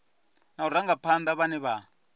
na u rangaphana vhane vha